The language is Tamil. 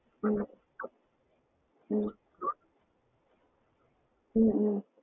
ஹம் ஹம் ஹம் உம்